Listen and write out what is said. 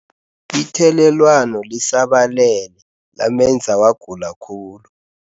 Ithelelwano lisabalele lamenza wagula khulu.